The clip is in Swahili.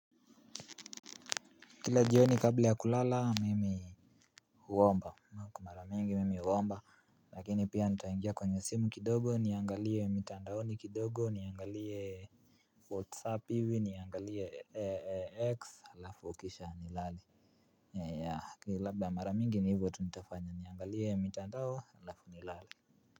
Kila jioni kabla ya kulala mimi huomba mara mingi mimi huomba. Lakini pia nitangia kwenye simu kidogo niangalie mitandao ni kidogo niangalie whatsapp hivi niangalie x lafu ukisha ni lale. Ya ya ya kili labda mara mingi ni hivyo tunitafanya niangalie mitandao lafu ni lale.